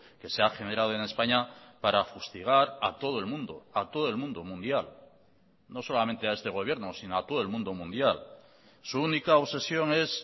que se ha generado en españa para fustigar a todo el mundo a todo el mundo mundial no solamente a este gobierno si no a todo el mundo mundial su única obsesión es